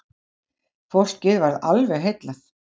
Fólkið varð alveg heillað.